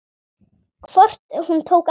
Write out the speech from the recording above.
Hvort hún tók eftir mér.